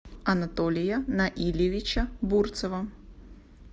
анатолия наилевича бурцева